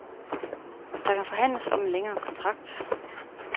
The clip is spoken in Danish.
Der kan forhandles om en længere kontrakt.